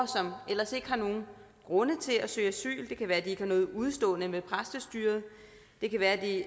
som ellers ikke har nogen grunde til at søge asyl det kan være at de ikke har noget udestående med præstestyret det kan være at de